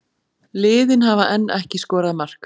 Liðin hafa enn ekki skorað mark